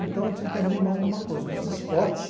Então eu tive que abrir mão de uma coisa, dos esportes.